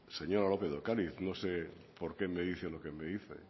señora lopez de ocariz no sé por qué me dice lo que me dice